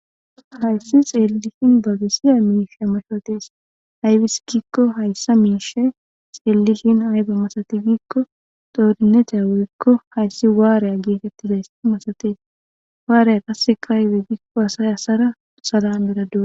hayssi xeellishin babisiya miifiya mashootes haybis giikko hayssa miishe xeellishin hayba masati giikko doodinetiya woykko hayssi waarya geetettidays masatees waarya qasse kaaywe giikko asay asara salan meradua